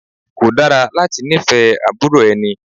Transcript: Kò dára láti ní fẹ́ àbúrò ẹni.